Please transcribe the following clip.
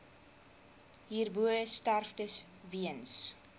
hierbo sterftes weens